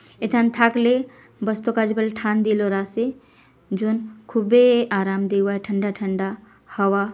एथन थाकले बसतो का काच बल थान दिलो रासे जोन खूबे आराम देवा ठंडा ठंडा हवा --